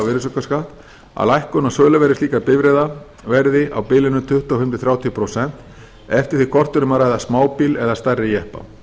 virðisaukaskatt að lækkun á söluverði slíkra bifreiða verði á bilinu tuttugu og fimm til þrjátíu prósent eftir því hvort um er að ræða smábíla eða stærri jeppa